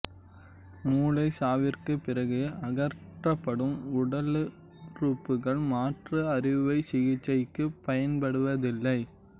மூளைச் சாவிற்குப் பிறகு அகற்றப்படும் உடலுறுப்புக்கள் மாற்று அறுவைச் சிகிச்சைக்குப் பயன்படுவதில்லை